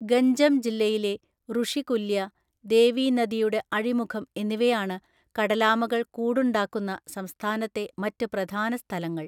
ഗഞ്ചം ജില്ലയിലെ റുഷികുല്യ, ദേവി നദിയുടെ അഴിമുഖം എന്നിവയാണ് കടലാമകൾ കൂടുണ്ടാക്കുന്ന സംസ്ഥാനത്തെ മറ്റ് പ്രധാന സ്ഥലങ്ങൾ.